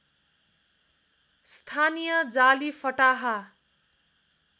स्थानीय जाली फटाहा